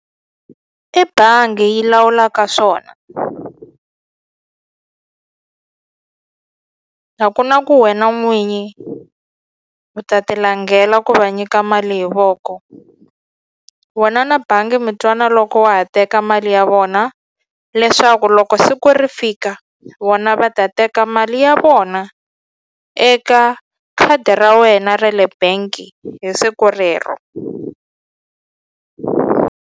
I bangi yi lawulaka swona a ku na ku wena n'winyi u ta ti langhela ku va nyika mali hi voko wena na bangi mi twana loko wa ha teka mali ya vona leswaku loko siku ri fika vona va ta teka mali ya vona eka khadi ra wena re le bank hi siku rero.